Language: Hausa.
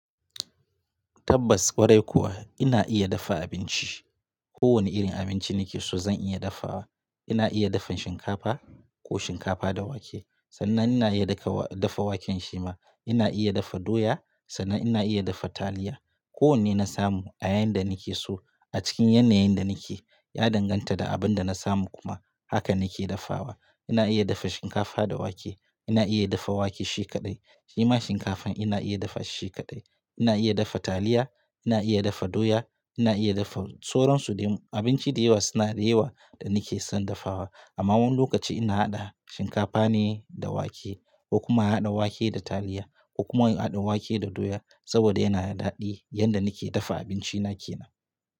Tabbas, ƙwarai kuwa ina iya dafa abinci. Ko wane irin abinci nake so zan iya dafawa. Ina iya dafan shinkafa ko shinkafa da wake. Sannan ina iya dafa waken shima. Ina iya dafa doya sannan ina iya dafa taliya. Ko wane na samu a yayin da nake so a cikin yanayin da nake, ya danganta da abin da na samu kuma haka nake dafawa. Ina iya dafa shinkafa da wake. Ina iya dafa wake shi kaɗai. Shima shinkafan ina iya dafa shi kaɗai. Ina iya dafa taliya, ina iya dafa doya, ina iya dafa soran su dumu. Abinci dayawa suna da yawa da nake son dafawa. Amma wani lokaci ina haɗa shinkafa ne da wake ko kuma haɗa wake da taliya ko kuma haɗa wake da doya saboda yana da daɗi yanda nake dafa abinci nake nan.